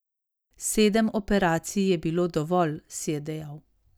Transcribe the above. Sedem operacij je bilo dovolj, si je dejal.